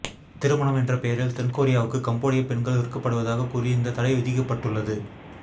திருமணம் என்ற பெயரில் தென் கொரியாவுக்கு கம்போடியப் பெண்கள் விற்கப்படுவதாகக் கூறி இந்தத் தடை விதிக்கப்பட்டுள்ளது